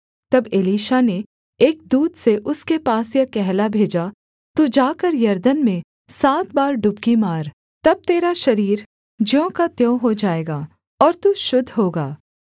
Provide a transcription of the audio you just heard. तब एलीशा ने एक दूत से उसके पास यह कहला भेजा तू जाकर यरदन में सात बार डुबकी मार तब तेरा शरीर ज्यों का त्यों हो जाएगा और तू शुद्ध होगा